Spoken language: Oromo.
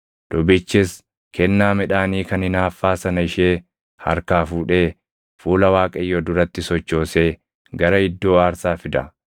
Lubichis kennaa midhaanii kan hinaaffaa sana ishee harkaa fuudhee fuula Waaqayyoo duratti sochoosee gara iddoo aarsaa fida.